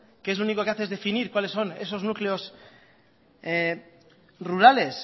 que lo único que hace es definir cuales son esos núcleos rurales